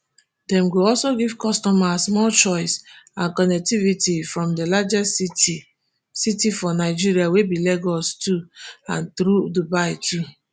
dem go also give customers more choice and connectivity from di largest city city for nigeria wey be lagos to and thru dubai too